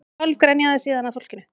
Hálf grenjaði síðan að fólkinu